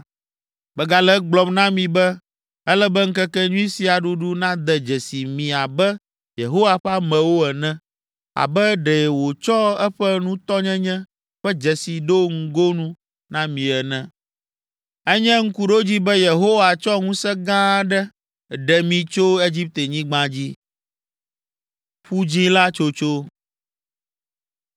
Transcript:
Megale egblɔm na mi be ele be ŋkekenyui sia ɖuɖu nade dzesi mi abe Yehowa ƒe amewo ene, abe ɖe wòtsɔ eƒe nutɔnyenye ƒe dzesi ɖo ŋgonu na mi ene. Enye ŋkuɖodzi be Yehowa tsɔ ŋusẽ gã aɖe ɖe mi tso Egiptenyigba dzi.”